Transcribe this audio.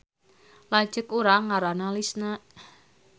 Lanceuk urang ngaranna Lisna